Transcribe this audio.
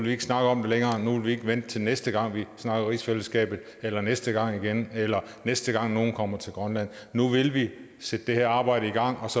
ikke snakke om det længere nu vil vi ikke vente til næste gang vi snakker om rigsfællesskabet eller næste gang igen eller næste gang nogen kommer til grønland nu vil vi sætte det her arbejde i gang